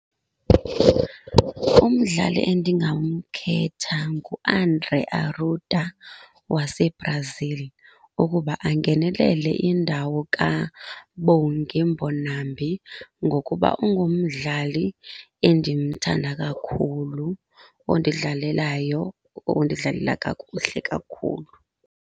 Umdlali endingamkhetha nguAndre Arruda waseBrazil ukuba angenelele indawo kaBongi Mbonambi ngokuba ungumdlali endimthanda kakhulu ondidlalelayo, ondidlalela kakuhle kakhulu.